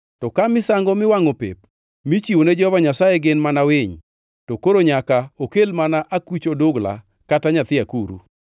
To ka misango miwangʼo pep michiwone Jehova Nyasaye gin mana winy, to koro nyaka okel mana akuch odugla kata nyathi akuru.